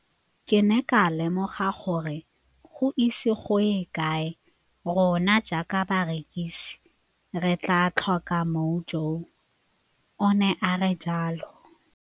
Ke ne ka lemoga gore go ise go ye kae rona jaaka barekise re tla tlhoka mojo, o ne a re jalo.